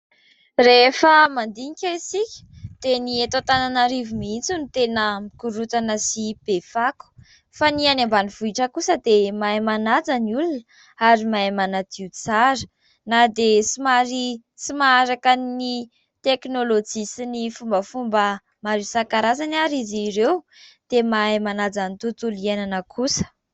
Rehefa mandinika isika dia ny eto Antananarivo mihitsy no tena mikorontana sy be fako fa ny any ambanivohitra kosa dia mahay manaja ny olona ary mahay manadio tsara. Na dia somary tsy maharaka ny teknolojia sy ny fombafomba maro isankarazany ary izy ireo dia mahay manaja ny tontolo iainana kosa.